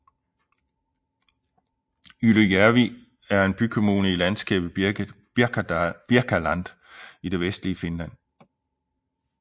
Ylöjärvi er en bykommune i landskabet Birkaland i det vestlige Finland